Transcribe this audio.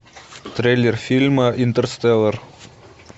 трейлер фильма интерстеллар